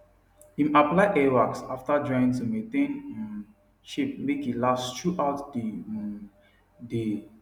im apply hair wax after drying to maintain um shape make e last through out the um day